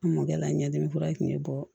N mɔkɛ la ɲɛdimi kura min bɛ bɔ